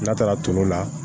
N'a taara tulu la